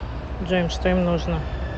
джой что им нужно